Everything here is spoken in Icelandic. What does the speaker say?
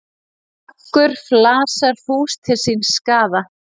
Margur flasar fús til síns skaða.